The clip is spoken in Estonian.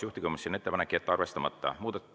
Juhtivkomisjoni ettepanek on jätta arvestamata.